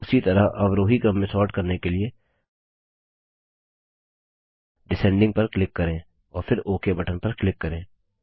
उसी तरह अवरोही क्रम में सोर्ट करने के लिए डिसेंडिंग पर क्लिक करें और फिर ओक बटन पर क्लिक करें